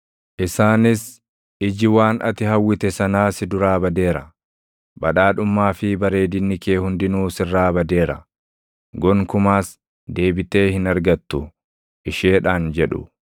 “Isaanis, ‘Iji waan ati hawwite sanaa si duraa badeera. Badhaadhummaa fi bareedinni kee hundinuu sirraa badeera; gonkumaas deebitee hin argattu’ isheedhaan jedhu.